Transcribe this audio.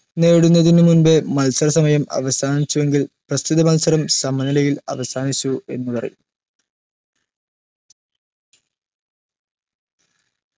നേടുന്നതിന് മുൻപ് മത്സര സമയം അവസാനിച്ചുവെങ്കിൽ പ്രസ്തുത മത്സരം സമനിലയിൽ അവസാനിച്ചു എന്ന് പറയും